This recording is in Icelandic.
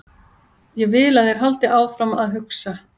Ég vil að þeir haldi áfram að hugsa.